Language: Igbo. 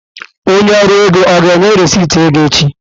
Onye ọrụ ego ọ ga-enye rịsịtị ego echi?